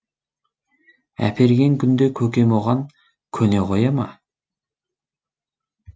әперген күнде көкем оған көне қоя ма